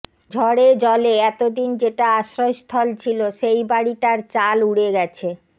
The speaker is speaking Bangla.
ঝড়ে জলে এতদিন যেটা আশ্রয়স্থল ছিল সেই বাড়িটার চাল উড়ে গেছে